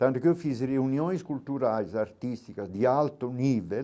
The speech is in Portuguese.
Tanto que eu fiz reuniões culturais, artísticas, de alto nível.